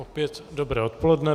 Opět dobré odpoledne.